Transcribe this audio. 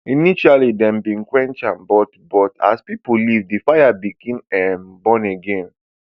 initially dem bin quench am but but as pipo leave di fire begin um burn again